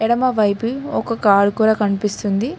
ఎడమ వైపు ఒక కార్ కూడా కన్పిస్తుంది.